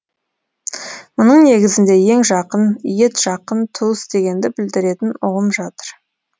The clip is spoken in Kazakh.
мұның негізінде ең жақын етжақын туыс дегенді білдіретін ұғым жатыр